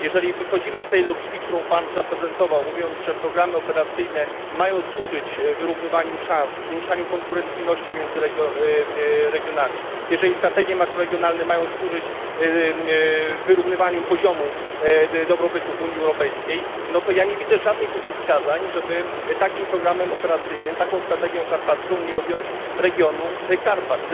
Jeżeli wychodzimy z tej logiki, którą Pan zaprezentował, mówiąc, że programy operacyjne mają służyć wyrównywaniu szans, zwiększaniu konkurencyjności między regionami, jeżeli strategie makroregionalne mają służyć wyrównywaniu poziomu dobrobytu w Unii Europejskiej, to nie widzę żadnych przeciwwskazań, żeby takim programem operacyjnym, taką strategią karpacką, nie objąć regionu Karpat.